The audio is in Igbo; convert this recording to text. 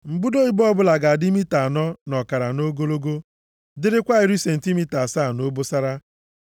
Mbudo ibo ọbụla ga-adị mita anọ na ọkara nʼogologo, dịrịkwa iri sentimita asaa nʼobosara.